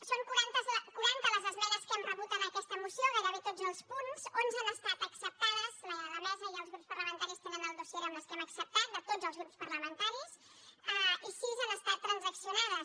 són quaranta les esmenes que hem rebut en aquesta moció gairebé a tots els punts onze han estat acceptades la mesa i els grups parlamentaris tenen el dossier amb les que hem acceptat de tots els grups parlamentaris i sis han estat transaccionades